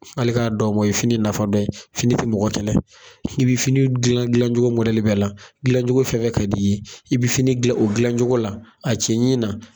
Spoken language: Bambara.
Hali k'a dan o ma, o ye fini nafa dɔ ye. Fini te mɔgɔ kɛlɛ. I be fini dilan dilancogo bɛɛ la, dilancogo fɛn fɛn ka d'i ye. I be fini dilan o dilancogo la, a cɛɲi na.